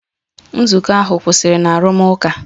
Nzukọ ahụ kwụsịrị na arụmụka.